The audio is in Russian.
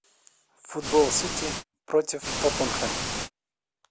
футбол сити против тоттенхэм